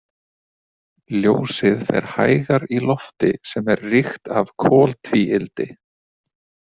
Ljósið fer hægar í lofti sem er ríkt af koltvíildi.